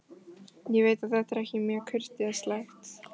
Ég veit að þetta er ekki mjög kurteislegt.